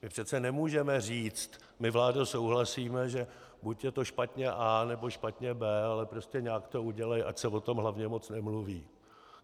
My přece nemůžeme říct: My, vládo, souhlasíme, že buď je to špatně A, nebo špatně B, ale prostě nějak to udělej, ať se o tom hlavně moc nemluví.